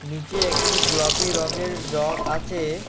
নীচে একটি গোলাপি রংয়ের জগ আছে।